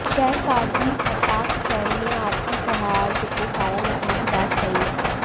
शहर काजी आफाक हुसैन ने आपसी सौहार्द को कायम रखने की बात कही